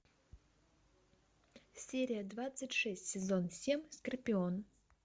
серия двадцать шесть сезон семь скорпион